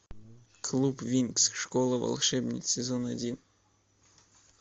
клуб винкс школа волшебниц сезон один